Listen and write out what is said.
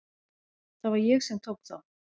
Það var ég sem tók þá.